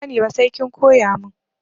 Ban sani ba sai kin koya mun.